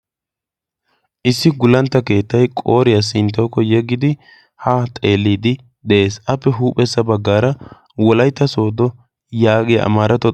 issi gullantta keettay qooriyaa sinttawukko yeggidi ha xeelliidi de'ees appe huuphessa baggaara wolaytta soodo yaagiya a maaratay